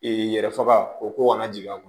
yɛrɛ faga o ko kana jigin a kɔnɔ